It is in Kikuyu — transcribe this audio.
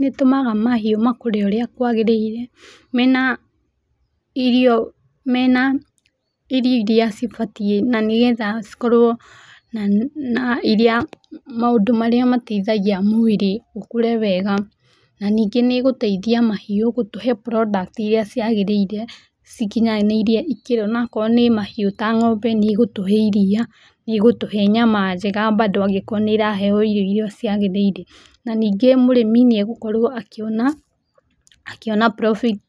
Nĩĩtũmaga mahiũ makũre ũria kwagĩrĩire mena irio, mena irio iria cibatiĩ na nĩgetha cikorwo na maũndũ marĩa mateithagia mwĩrĩ ũkũre wega na ningĩ nĩĩgũteithia mahiũ gũtũhe products iria ciagĩrĩire na iria cikinyanĩirie ikĩro na akorwo nĩ mahiũ ta ng'ombe nĩigũtũhe iria nĩigũtũhe nyama njega bado angĩkorwo nĩiraheo irio iria ciagĩrĩire na ningĩ mũrĩmi nĩagũkorwo akĩona, akĩona profit